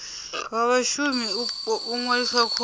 wa vhashumi u ṅwalisa khoro